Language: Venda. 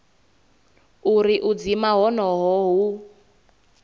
uri u dzima honoho hu